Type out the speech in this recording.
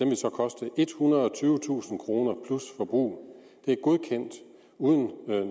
vil så koste ethundrede og tyvetusind kroner plus forbrug det er godkendt uden